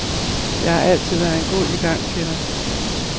Jeg har altid været en god igangsætter.